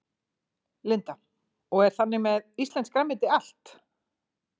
Linda: Og er þannig með íslenskt grænmeti allt?